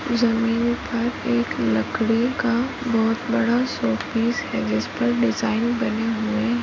जमीन पर एक लकड़ी का बहुत बड़ासूट केस है जिस पर डिज़ाइन --